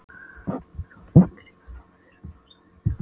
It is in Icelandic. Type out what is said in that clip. Þórður greip fram fyrir henni og sagði